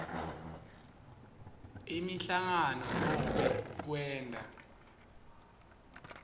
imihlangano nobe kwenta